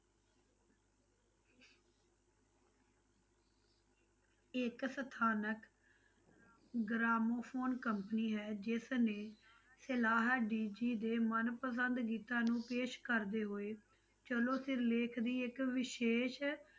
ਇੱਕ ਸਥਾਨਕ gramophone company ਹੈ ਜਿਸ ਨੇ ਸਲਾਹ ਡੀਜੀ ਦੇ ਮਨ ਪਸੰਦ ਗੀਤਾਂ ਨੂੰ ਪੇਸ਼ ਕਰਦੇ ਹੋਏ, ਚਲੋ ਸਿਰਲੇਖ ਦੀ ਇੱਕ ਵਿਸ਼ੇਸ਼